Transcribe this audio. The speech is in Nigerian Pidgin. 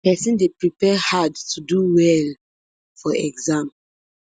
pesin dey prepare hard to do well for exam